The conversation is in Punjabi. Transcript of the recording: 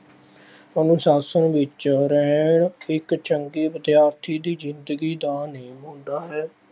ਉਹਨੂੰ ਸਾਧ ਸੰਗ ਵਿੱਚ ਰਹਿਣ, ਇੱਕ ਚੰਗੇ ਵਿਦਿਆਰਥੀ ਦੀ ਜ਼ਿੰਦਗੀ ਦਾ ਨਿਯਮ ਹੁੰਦਾ ਹੈ।